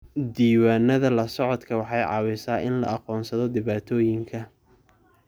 Diiwaanada la socodka waxay caawisaa in la aqoonsado dhibaatooyinka.